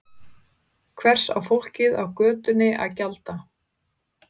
Hvers á fólkið á götunni að gjalda?